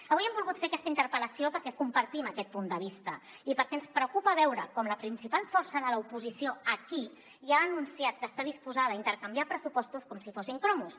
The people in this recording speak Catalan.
avui hem volgut fer aquesta interpel·lació perquè compartim aquest punt de vista i perquè ens preocupa veure com la principal força de l’oposició aquí ja ha anunciat que està disposada a intercanviar pressupostos com si fossin cromos